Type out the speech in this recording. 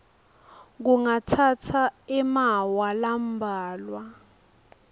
kungatsatsa emaawa lambalwa